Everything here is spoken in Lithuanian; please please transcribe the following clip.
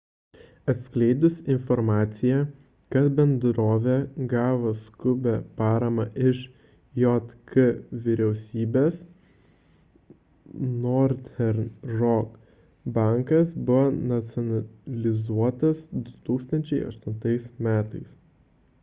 atskleidus informciją kad bendrovė gavo skubią paramą iš jk vyriausybės northern rock bankas buvo nacionalizuotas 2008 m